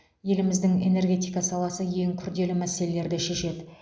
еліміздің энергетика саласы ең күрделі мәселелерді шешеді